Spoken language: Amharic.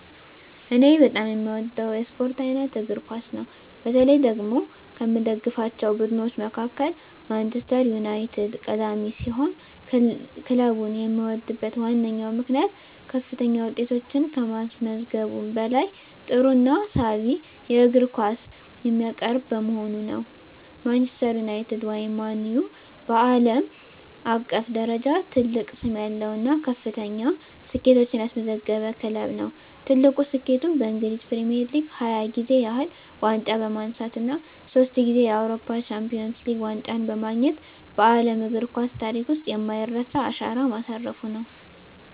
እኔ በጣም የምወደው የስፖርት አይነት እግር ኳስ ነው። በተለይ ደግሞ ከምደግፋቸው ቡድኖች መካከል ማንቸስተር ዩናይትድ ቀዳሚ ሲሆን፣ ክለቡን የምወድበት ዋነኛው ምክንያት ከፍተኛ ውጤቶችን ከማስመዝገቡም በላይ ጥሩና ሳቢ የእግር ኳስ የሚያቀርብ በመሆኑ ነው። ማንቸስተር ዩናይትድ (ማን ዩ) በዓለም አቀፍ ደረጃ ትልቅ ስም ያለው እና ከፍተኛ ስኬቶችን ያስመዘገበ ክለብ ነው። ትልቁ ስኬቱም በእንግሊዝ ፕሪሚየር ሊግ 20 ጊዜ ያህል ዋንጫ በማንሳት እና ሶስት ጊዜ የአውሮፓ ቻምፒየንስ ሊግ ዋንጫን በማግኘት በዓለም እግር ኳስ ታሪክ ውስጥ የማይረሳ አሻራ ማሳረፉ ነው።